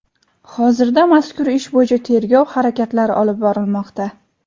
Hozirda mazkur ish bo‘yicha tergov harakatlari olib borilmoqda.